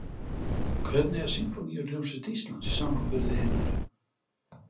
Hvernig er Sinfóníuhljómsveit Íslands í samanburði við hinar?